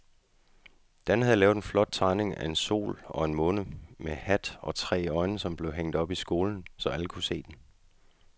Dan havde lavet en flot tegning af en sol og en måne med hat og tre øjne, som blev hængt op i skolen, så alle kunne se den.